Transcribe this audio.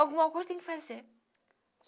Alguma coisa tem que fazer.